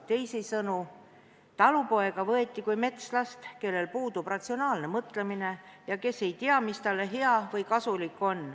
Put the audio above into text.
Teisisõnu, talupoega võeti kui metslast, kellel puudub ratsionaalne mõtlemine ja kes ei tea, mis on talle hea või kasulik.